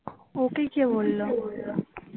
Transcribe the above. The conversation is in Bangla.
ওকে কে বললো